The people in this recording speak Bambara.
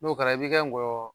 N'o kɛra i bi ka ŋɔyɔ